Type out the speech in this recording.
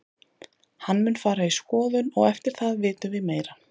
Hann mun fara í skoðun og eftir það vitum við meira.